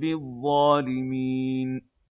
بِالظَّالِمِينَ